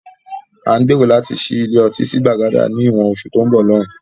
À ń gbèrò láti ṣí ilé ọtí sí Gbàgádà ni ìwọ̀n oṣù tó ń bọ̀ lóun